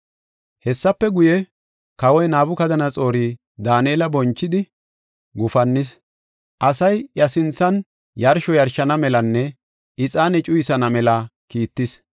Hessafe guye, kawoy Nabukadanaxoori Daanela bonchidi, gufannis; asay iya sinthan yarsho yarshana melanne ixaane cuyisana mela kiittis.